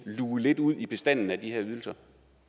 luge lidt ud i bestanden af de her ydelser